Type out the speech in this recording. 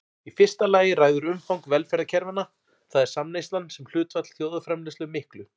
Í fyrsta lagi ræður umfang velferðarkerfanna, það er samneyslan sem hlutfall þjóðarframleiðslu miklu.